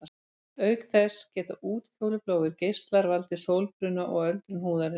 Auk þess geta útfjólubláir geislar valdið sólbruna og öldrun húðarinnar.